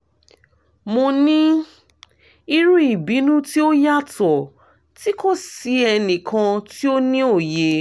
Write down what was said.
mo ni iru ibinu ti o yatọ ti ko si ẹnikan ti o ni oye